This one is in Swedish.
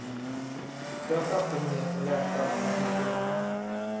Så jag satte mig ner och läste alla partiprogrammen.